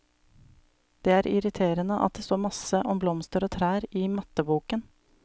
Det er irriterende at det står masse om blomster og trær i matteboken.